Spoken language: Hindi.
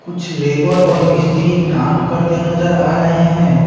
कुछ लेबर और मिस्त्री काम करते नजर आ रहे हैं।